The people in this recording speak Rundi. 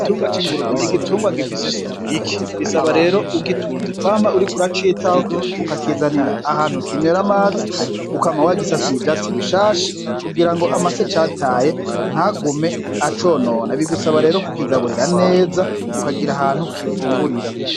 Igitungwa c'ingurube n'igitungwa gifise isuku rike, bisaba rero ugitunze kwama uriko uracitaho, ukakizanira ahantu kinywera amazi, ukama wagisasiye ivyatsi bishasha, kugirango amase cataye ntagume aconona, bigusaba rero kukigaburira neza, ukagiha ahantu gifungurira.